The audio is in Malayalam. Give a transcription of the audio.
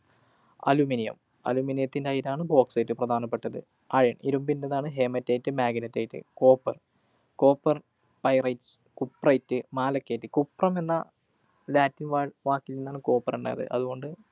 aluminium, aluminum ത്തിൻ്റെ അയിരാണ് bauxite, പ്രധാനപ്പെട്ടത്. Iron, ഇരുമ്പിന്‍ടെതാണ് HaemethiteMagnetite. Copper, Copper pyritesCupriteMalachite. cuprum എന്ന Latin വാ വാക്കില്‍ നിന്നാണ് copper ഉണ്ടായത്. അതുകൊണ്ട്